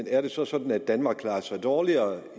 er det så er sådan at danmark klarer sig dårligere